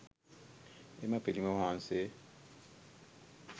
එම පිළිම වහන්සේ